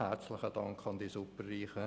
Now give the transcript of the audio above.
Herzlichen Dank an die Superreichen!